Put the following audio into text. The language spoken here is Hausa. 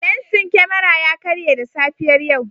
Lensin kyamara ya karye da safiyar yau.